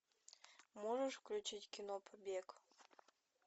можешь включить кино побег